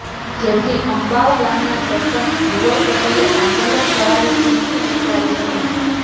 જેથી અંબાવ ગામના સરંપચ ધ્રુવલ પટેલે આંદોલન કરવાની ચિમકી ઉચ્ચારી હતી